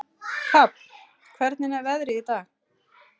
Hrafn, hvernig er veðrið í dag?